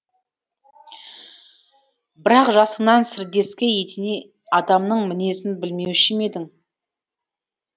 бірақ жасыңнан сырдескі етене адамның мінезін білмеуші ме едің